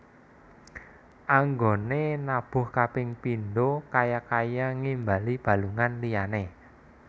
Anggoné nabuh kaping pindho kaya kaya ngimbali balungan liyané